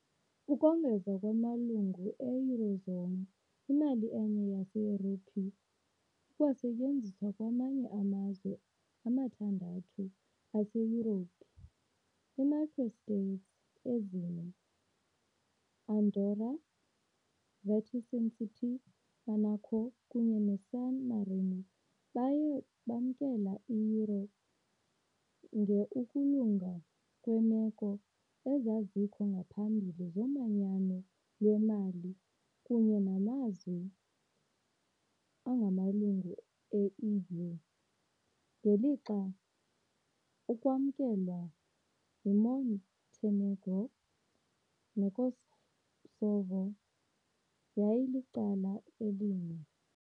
Ukongeza kumalungu e-eurozone, imali enye yaseYurophu ikwasetyenziswa kwamanye amazwe amathandathu aseYurophu, i -microstates ezine, Andorra, Vatican City, Monaco kunye neSan Marino, baye bamkela i-euro nge ukulunga kweemeko ezazikho ngaphambili zomanyano lwemali kunye namazwe angamalungu e-EU, ngelixa ukwamkelwa yiMontenegro neKosovo yayilicala elinye.